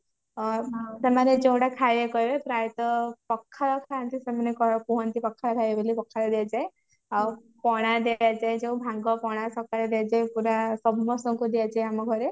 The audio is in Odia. ଓ ସେମାନେ ଯୋଉ ଗୁଡା କହିବାକୁ କହିବେ ପ୍ରାଏତ ପଖାଳ ଖାନ୍ତି ସେମାନେ କଣ କୁହନ୍ତି ପଖାଳ ଖାଇବେ ବୋଲି ପଖାଳ ଦିଆଯାଏ ଆଉ ପଣା ଦିଆଯାଏ ଭାଙ୍ଗ ପଣା ସକାଳୁ ଦିଆଯାଏ ପୁରା ସମସ୍ତଙ୍କୁ ଦିଆଯାଏ ଆମ ଘରେ